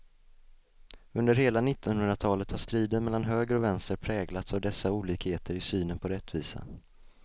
Under hela nittonhundratalet har striden mellan höger och vänster präglats av dessa olikheter i synen på rättvisa.